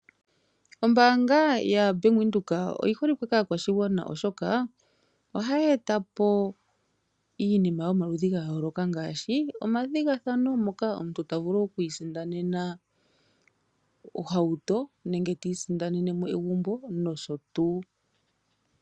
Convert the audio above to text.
Oombaanga yoBank Windhoek oyi holike kaakwashigwana oshoka ohaya etapo iinima yomaludhi gayooloka ngaashi omathigathano moka omuntu ta vulu okwiisindanena ohauto nenge ta isindanene egumbo noshotuu.